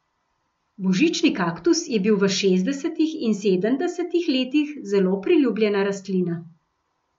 Božični kaktus je bil v šestdesetih in sedemdesetih letih zelo priljubljena rastlina.